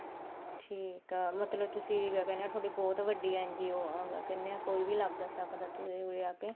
ਠੀਕ ਆ ਮਤਲਬ ਤੁਸੀਂ ਕਿਆ ਕਹਿਨੇ ਆਂ ਥੋਡੀ ਬਹੁਤ ਵੱਡੀ NGO ਆ ਕਿਆ ਕਹਿਨੇ ਆ ਕੋਈ ਲੱਗ ਸਕਦਾ ਉਰੇ ਆ ਕੇ